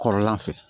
Kɔrɔlan fɛ